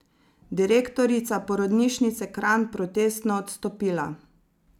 Direktorica porodnišnice Kranj protestno odstopila.